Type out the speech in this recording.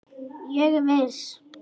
Ég er viss.